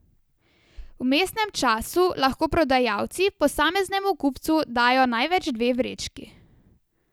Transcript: V vmesnem času lahko prodajalci posameznemu kupcu dajo največ dve vrečki.